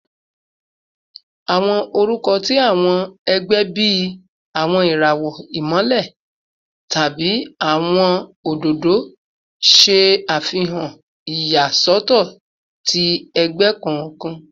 Awọn orukọ ti awọn ẹgbẹ bii “Awọn irawọ Imọlẹ” tabi “Awọn ododo ododo” ṣe afihan iyasọtọ ti ẹgbẹ kọọkan